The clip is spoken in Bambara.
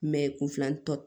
kun filanan tɔ